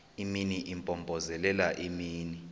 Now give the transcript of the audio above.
imini impompozelela imini